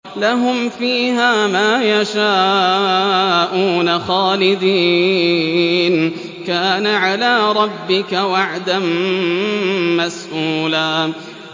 لَّهُمْ فِيهَا مَا يَشَاءُونَ خَالِدِينَ ۚ كَانَ عَلَىٰ رَبِّكَ وَعْدًا مَّسْئُولًا